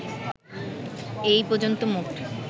এ পর্যন্ত মোট